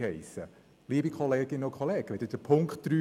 Liebe Kolleginnen und Kollegen, lesen Sie Punkt 3: